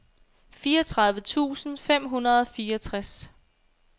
fireogtredive tusind fem hundrede og fireogtres